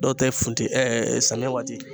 Dɔw tɛ funteni samiyɛ waati